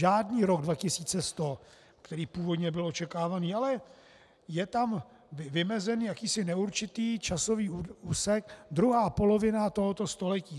Žádný rok 2100, který původně byl očekávaný, ale je tam vymezen jakýsi neurčitý časový úsek, druhá polovina tohoto století.